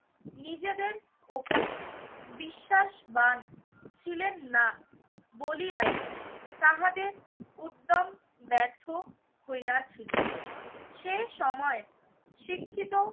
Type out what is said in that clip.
নিজেদের ওপর বিশ্বাসবান ছিলেন না বলিয়াই তাহাদের উদ্দ্যম ব্যর্থ হইয়াছিল। সে সময় শিক্ষিত